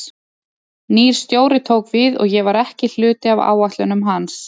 Nýr stjóri tók við og ég var ekki hluti af áætlunum hans.